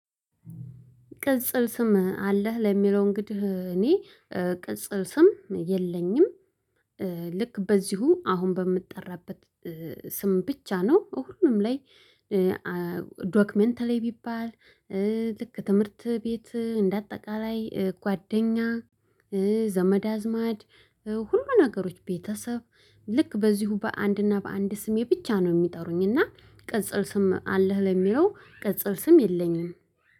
ቅጽል ስም አለህ ለሚለው እንግዲህ እኔ ቅጽል ስም የለኝም። ልክ በዚሁ አሁን በምጠራበት ስም ብቻ ነው በሁሉም ላይ። ዶክመንታል ላይ ቢባል። ልክ ትምህርት ቤት እንደ አጠቃላይ ጓደኛ ዘመድ አዝማድ። ሁሉ ነገሮች ቤተሰብ። ልክ በዚሁ በአንድና በአንድ ስሜ ብቻ ነው የሚጠሩኝ እና። ቅጽል ስም አለህ ለሚለው ቅጽል ስም የለኝም